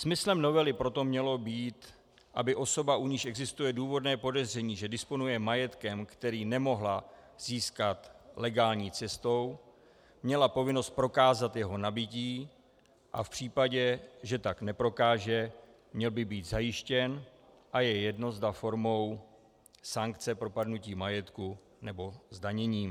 Smyslem novely proto mělo být, aby osoba, u níž existuje důvodné podezření, že disponuje majetkem, který nemohla získat legální cestou, měla povinnost prokázat jeho nabytí, a v případě, že tak neprokáže, měl by být zajištěn, a je jedno, zda formou sankce propadnutí majetku, nebo zdaněním.